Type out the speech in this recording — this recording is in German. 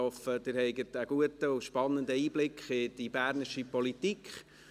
Ich hoffe, Sie haben einen guten und spannenden Einblick in die bernische Politik.